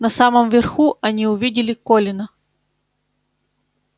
на самом верху они увидели колина